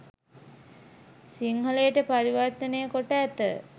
සිංහලයට පරිවර්තනය කොට ඇත.